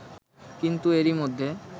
কিন্তু এরই মধ্যে